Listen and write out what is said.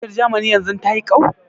Wautar Jamani yanzun ta yi ƙau?